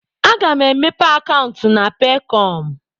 A ga m emepe akaụntụ na Peekọm.